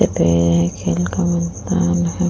खेल का मैदान है।